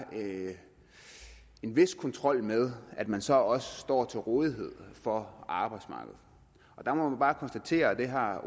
en vis kontrol med at man så også står til rådighed for arbejdsmarkedet der må man bare konstatere og det har